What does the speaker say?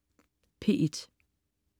P1: